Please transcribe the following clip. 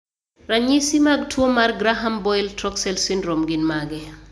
Ranyisi mag tuwo marGraham Boyle Troxell syndrome gin mage?